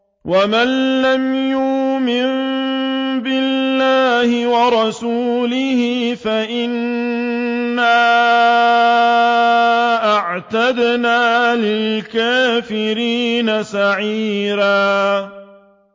وَمَن لَّمْ يُؤْمِن بِاللَّهِ وَرَسُولِهِ فَإِنَّا أَعْتَدْنَا لِلْكَافِرِينَ سَعِيرًا